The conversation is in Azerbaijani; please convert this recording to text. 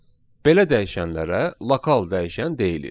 Belə dəyişənlərə lokal dəyişən deyilir.